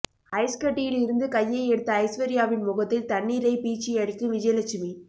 ஐஸ்கட்டியில் இருந்து கையை எடுத்த ஐஸ்வர்யாவின் முகத்தில் தண்ணீரை பீச்சி அடிக்கும் விஜயலட்சுமி